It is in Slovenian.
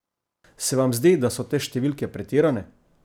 Se vam zdi, da so te številke pretirane?